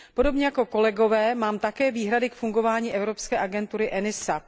Podobně jako kolegové mám také výhrady k fungování evropské agentury ENISA.